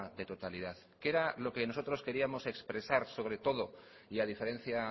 de totalidad qué era lo que nosotros queríamos expresar sobre todo y a diferencia